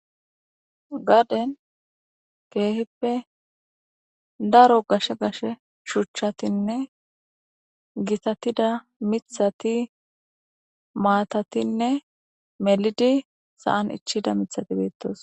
Gaaden keehippe daro gashe gashe shuchchatinne gitatida mithati maatatinne melidi saan ichida mithati beettos.